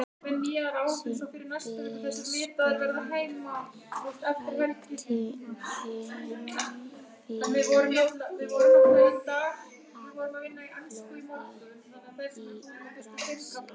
Biskup hrækti munnfylli af blóði í grasið.